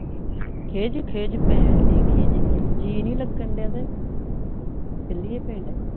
ਖਿਝ ਖਿਝ ਪੈਨ ਡਏ ਖਿਝ ਖਿਝ ਜੀ ਨਹੀਂ ਲੱਗਣ ਡਆ ਤੇ ਚੱਲੀਏ ਪਿੰਡ